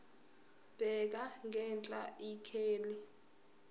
bheka ngenhla ikheli